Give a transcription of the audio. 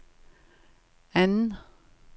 anden